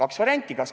On kaks varianti.